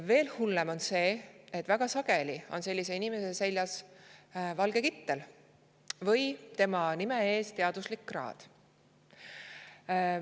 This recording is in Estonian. Veel hullem on see, et väga sageli on sellise inimese seljas valge kittel või tema nime ees teaduslik kraad.